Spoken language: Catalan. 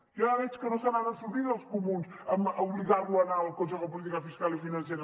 ja veig que no se n’han sortit els comuns a obligar lo a anar al consejo de política fiscal i financera